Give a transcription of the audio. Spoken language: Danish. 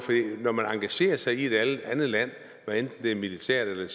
når man engagerer sig i et andet land hvad enten det er militært eller